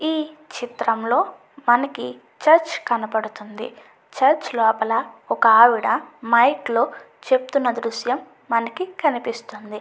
ఈ చిత్రంలో మనకి చర్చ్ కనబడుతుంది చర్చ్ లోపల ఒక ఆవిడ మైక్ లో చెప్తున్న దృశ్యం మనకి కనిపిస్తుంది.